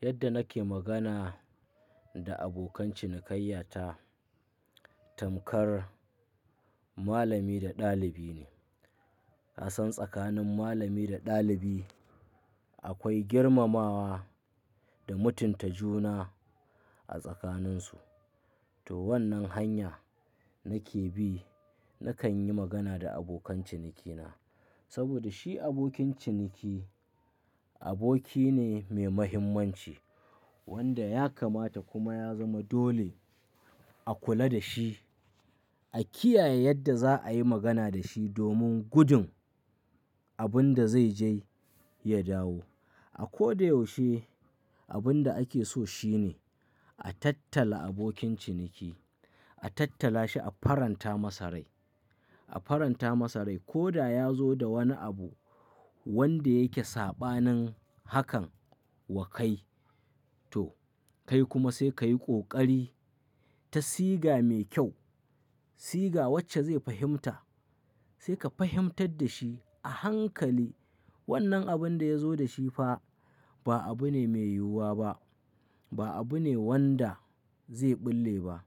Yadda nake magana da abokan cinikayya ta, tamkar malami da ɗalibi ne. Ka san tsakanin malami da ɗalibi akwai girmamawa da mutunta juna a tsakaninsu. To wannan hanya nake bi, nakan yi magana da abokan cinikina. Saboda shi abokin ciniki, aboki ne mai mahimmanci wanda ya kamata kuma ya zama dole a kula da shi, a kiyaye yadda zaayi magana da shi domin gudun abin da zai je ya dawo. A ko da yaushe abin da ake so shine a tattala abokin ciniki, a tattala shi a faranta masa rai, a faranta masa rai. Ko da yazo da wani abu wanda yake saɓanin hakan wa kai to kai kuma sai ka yi ƙoƙari ta siga mai kyau, siga wacce zai fahimta. Sai ka fahimtar da shi a hankali wannan abin da ya zo da shi fa ba abu ne mai yiwuwa ba, ba abu ne wanda zai bulle ba.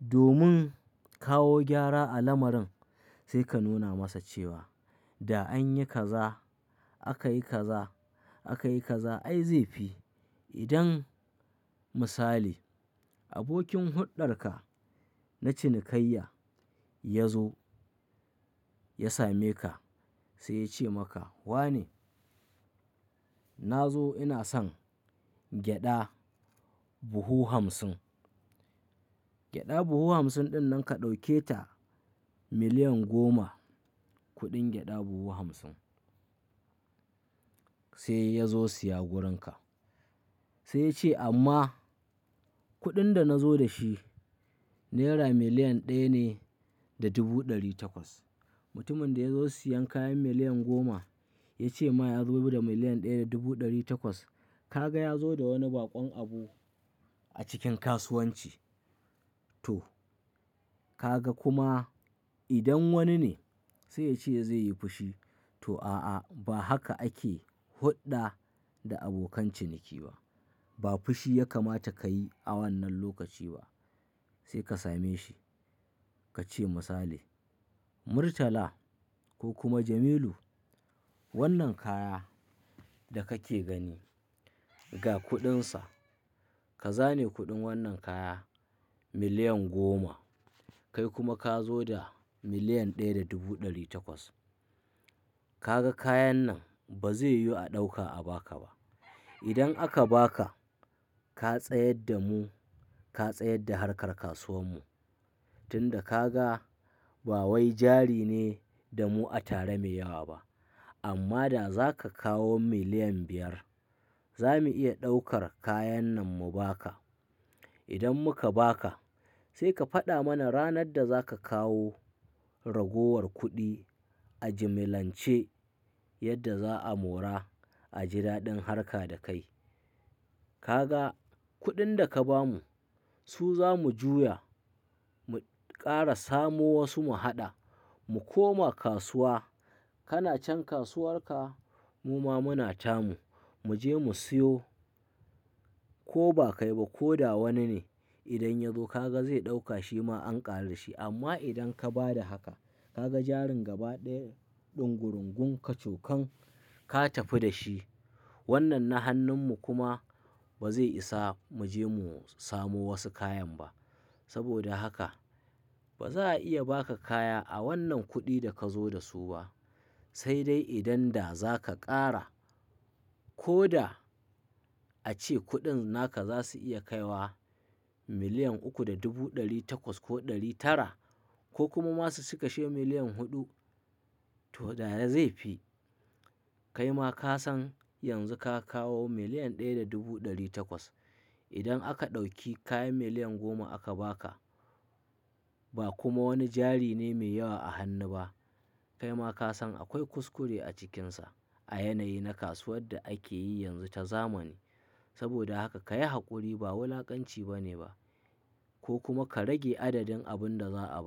Domin kawo gyara a lamarin, sai ka nuna masa cewa da an yi kaza, aka yi kaza, aka yi kaza ai zai fi, idan misali abokin huɗɗarka na cinikayya ya zo ya same ka sai ya ce maka, "Wane?" Na zo ina son gyaɗa buhu hamsin." Gyaɗa buhu hamsin ɗin nan ka ɗauke ta miliyan goma kuɗin gyaɗa buhu hamsin sai ya zo siya wurinka. Sai ya ce, "amma" kuɗin da na zo da shi naira miliyan ɗaya ne da dubu ɗari takwas." Mutumin da ya zo siyan kayan miliyan goma ya ce ma ya zo da miliyan ɗaya da dubu ɗari takwas. Ka ga ya zo da wani baƙon abu a cikin kasuwanci to ka ga kuma idan wani ne sai ya ce zai yi fushi, to a'a, ba haka ake huɗɗa da abokan ciniki ba. Ba fushi ya kamata ka yi a wannan lokaci ba. Sai ka same shi ka ce misali, "Murtala ko kuma Jamilu wannan kaya da kake gani ga kuɗinsa ka zane kuɗin wannan kaya miliyan goma kai kuma ka zo da miliyan ɗaya da dubu ɗari takwas. Ka ga kayan nan ba zai yiwu a ɗauka a baka ba. Idan aka baka ka tsayar da mu, ka tsayar da harkar kasuwar mu. Tun da ka ga ba wai jari ne da mu a tare mai yawa ba. Amma da za ka kawo miliyan biyar za mu iya ɗaukar kayan nan mu baka. Idan muka baka sai ka faɗa mana ranar da za ka kawo ragowar kuɗi a jimilance yadda za a mora a jidaɗin harka da kai. Ka ga kuɗin da ka ba mu su za mu juya mu ƙara samo wasu mu haɗa mu koma kasuwa. Kana can kasuwar ka muma muna tamu mu je mu siyo. Ko ba kai ba ko da wani ne idan ya zo ka ga zai ɗauka shi ma an ƙaru dashi amma idan ka ba da haka ka ga jarin gaba ɗaya ɗungurungun kacokan ka tafi da shi. Wannan na hannun mu kuma ba zai isa mu je mu samo wasu kayan ba. Saboda haka ba za a iya baka kaya a wannan kuɗin da ka zo da su ba. Sai dai idan da za ka ƙara ko da a ce kuɗin naka za su iya kai wa miliyan uku da dubu ɗari takwas ko ɗari tara ko kuma masu su cikashe miliyan huɗu to da zai fi. Kai ma ka san yanzu ka kawo miliyan ɗaya da dubu ɗari takwas. Idan aka ɗauki kayan miliyan goma aka baka ba kuma wani jari ne mai yawa a hannu ba kai ma ka san akwai kuskure a cikinsa a yanayi na kasuwar da ake yi yanzu ta zamani. Saboda haka ka yi haƙuri ba wulakanci bane ba ko kuma ka rage adadin abin da za a ba."